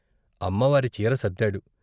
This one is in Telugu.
అమ్మవారి చీర సర్దాడు.